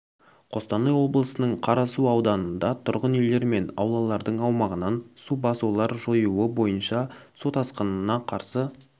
қостанай облысының қарасу ауданында тұрғын үйлер мен аулалардың аумағынан су басуларды жою бойынша су тасқынына қарсы